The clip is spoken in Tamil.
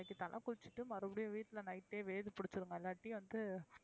இன்னைக்கு தல குளிச்சுட்டு மறுபடியும் விட்டுல night ஏ வேர் இல்லாட்டி வந்து,